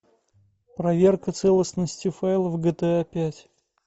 проверка целостности файлов гта пять